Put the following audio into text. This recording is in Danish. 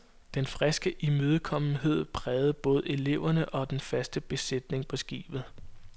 Den friske imødekommenhed prægede både eleverne og den faste besætning på skibet.